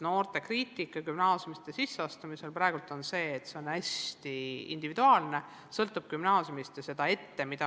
Noorte kriitika gümnaasiumisse sisseastumisel on praegu ju see, et nõuded on hästi individuaalsed, kõik sõltub gümnaasiumist ja nõudeid ette ei teata.